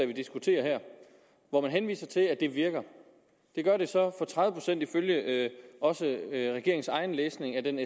vi diskuterer her og hvor man henviser til at det virker det gør det så for tredive procent ifølge også regeringens egen læsning af den